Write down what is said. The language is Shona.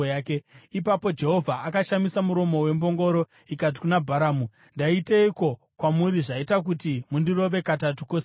Ipapo Jehovha akashamisa muromo wembongoro, ikati kuna Bharamu, “Ndaiteiko kwamuri zvaita kuti mundirove katatu kose aka?”